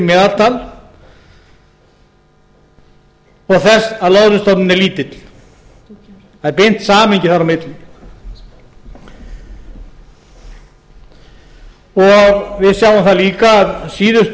meðaltal og þess að loðnustofninn er lítill það er beint samhengi þar á milli við sjáum það líka að síðustu